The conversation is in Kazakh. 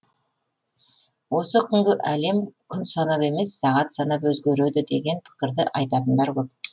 осы күнгі әлем күн санап емес сағат санап өзгереді деген пікірді айтатындар көп